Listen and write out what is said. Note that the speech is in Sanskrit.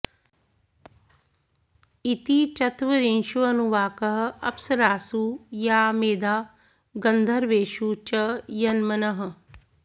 इति चत्वरिंशोऽनुवाकः अप्सरासु या मेधा गन्धर्वेषु च यन्मनः